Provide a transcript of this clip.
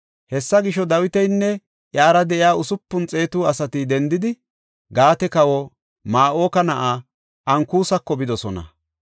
Hessa gisho, Dawitinne iyara de7iya usupun xeetu asati dendidi, Gaate kawa Ma7oka na7aa Ankusako bidosona.